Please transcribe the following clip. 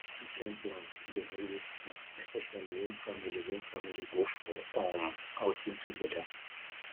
weekend plans dey always fun especially when family when family go for um outing together